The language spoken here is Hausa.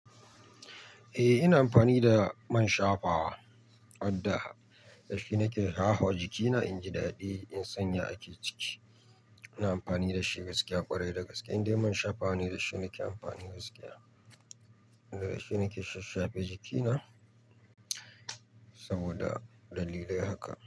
Eh, ina amfani da man shafawa, wadda Da shi nake shafawa jikina inji daɗi in sanya a ciki. Ina amfani da shi gaskiya ƙwarai. Da gaske indai man shafawa ne da shi nake amfani gaskiya. Da shi nake shashafe jikina saboda dalilai haka.